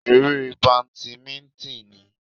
Eré badimíńtìn ni